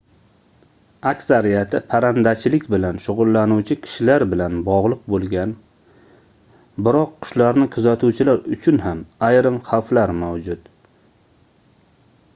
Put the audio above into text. aksariyati parrandachilik bilan shugʻullanuvchi kishilar bilan bogʻliq boʻlgan biroq qushlarni kuzatuvchilar uchun ham ayrim xavflar mavjud